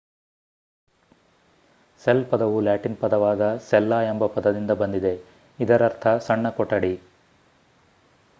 cell ಪದವು Latin ಪದವಾದ ಸೆಲ್ಲಾ ಎಂಬ ಪದದಿಂದ ಬಂದಿದೆ ಇದರರ್ಥ ಸಣ್ಣ ಕೊಠಡಿ